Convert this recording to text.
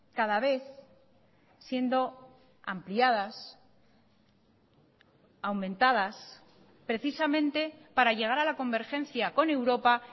cada vez siendo ampliadas aumentadas precisamente para llegar a la convergencia con europa